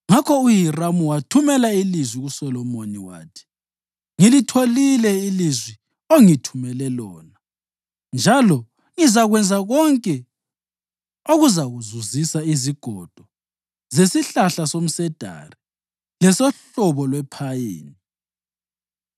Ngakho uHiramu wathumela ilizwi kuSolomoni wathi: “Ngilitholile ilizwi ongithumele lona njalo ngizakwenza konke okuzakuzuzisa izigodo zesihlahla somsedari lesohlobo lwephayini.